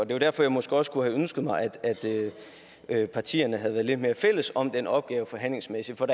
det var derfor jeg måske også kunne have ønsket at partierne havde været lidt mere fælles om den opgave forhandlingsmæssigt for